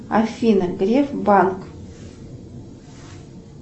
афина греф банк